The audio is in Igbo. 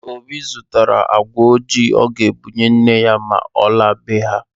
Obi zụtara agwa ojii ọ ga-ebunye nne ya ma ọ laa be ha